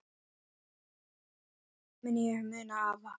Þannig mun ég muna afa.